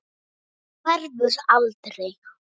Hann hverfur aldrei.